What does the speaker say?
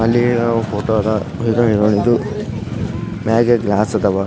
ನಾನು ನೋಡಿದ ಫೋಟೋ ಪ್ರಕಾರ ನೀವು ಕೋಟಕ್ ಮಹಿಂದ್ರಾ ಬ್ಯಾಂಕ್ ನೋಡಬಹುದು.